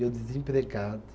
E eu desempregado.